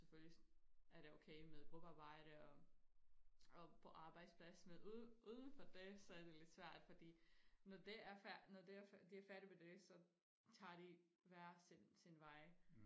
Selvfølgelig er det okay med gruppearbejde og og på arbejdsplads men ude uden for det så er det lidt svært fordi når det er når de er færdige med det så tager de hver hver sin vej